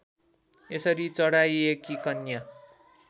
यसरी चढाइएकी कन्या